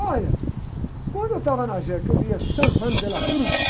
Olha, quando eu estava na jéqui, eu lia San Juan de la Cruz.